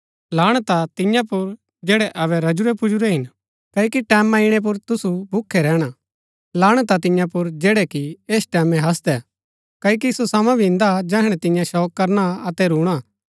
लाणत हा तियां पुर जैड़ै अबै रजुरैपुजुरै हिन क्ओकि टैमां ईणै पुर तुसु भूखै रैहणा लाणत हा तियां पुर जैड़ै कि ऐस टैमैं हासदै क्ओकि सो समा भी इन्दा जैहणै तियां शोक करणा अतै रूणा